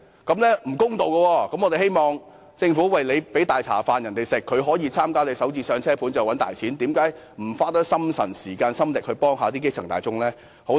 既然政府向他們提供"大茶飯"，可以透過參與興建"港人首置上車盤"賺大錢，那麼政府為何不多花心神、時間、心力幫助基層大眾呢？